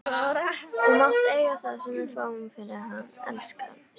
Þú mátt eiga það sem við fáum fyrir hann, elskan.